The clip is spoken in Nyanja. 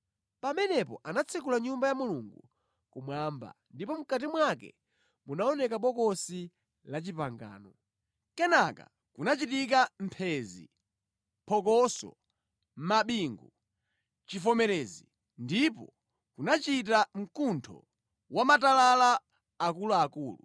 Pamenepo anatsekula Nyumba ya Mulungu kumwamba ndipo mʼkati mwake munaoneka Bokosi la Chipangano. Kenaka kunachita mphenzi, phokoso, mabingu, chivomerezi ndipo kunachita mkuntho wamatalala akuluakulu.